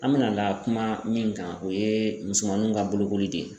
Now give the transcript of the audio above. An bɛna na kuma min kan o ye musomaninw ka bolokoli de ye .